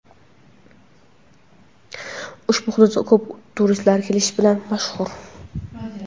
Ushbu hudud ko‘p turistlar kelishi bilan mashhur.